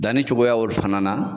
Danni cogoya fana na